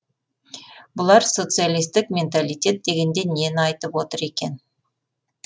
бұлар социалистік менталитет дегенде нені айтып отыр екен